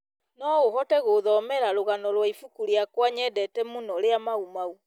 no ũhote gũthomera rũgano rwa ibuku rĩakwa nyendete mũno rĩa mau mau